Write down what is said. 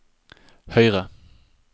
høyre